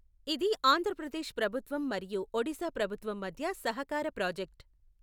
ఇది ఆంధ్రప్రదేశ్ ప్రభుత్వం మరియు ఒడిశా ప్రభుత్వం మధ్య సహకార ప్రాజెక్ట్.